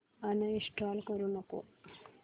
uninstall करू नको